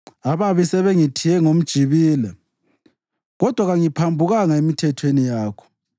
Ababi sebengithiye ngomjibila kodwa kangiphambukanga emithethweni yakho.